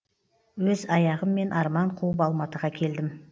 өз аяғыммен арман қуып алматыға келдім